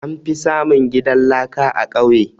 An fi samun gidan laka a ƙauye